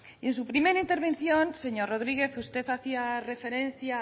y en su primera intervención señor rodriguez usted hacía referencia